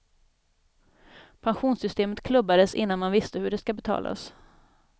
Pensionssystemet klubbades innan man visste hur det ska betalas.